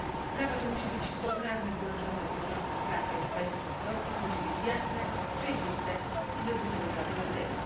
Prawo to musi być poprawnie wdrożone do porządków prawnych państw członkowskich, musi być jasne, przejrzyste i zrozumiałe dla obywateli.